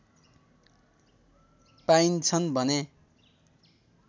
पाइन्छन् भने